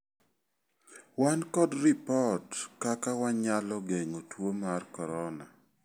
Wan kod ripod kaka wanyalo geng'o tuo mar corona.